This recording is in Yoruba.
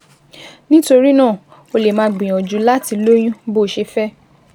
Nítorí náà, o lè máa gbìyànjú láti lóyún bó o ṣe fẹ́